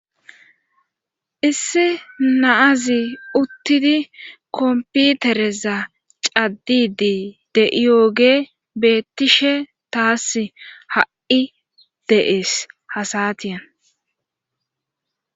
issi naazi uttidi komputereza caddidi de7iyoogey beettishe tasi ha7i de7ees ha satiyan